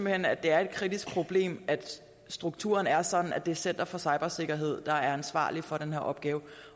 hen at det er et kritisk problem at strukturen er sådan at det er center for cybersikkerhed der er ansvarlig for den her opgave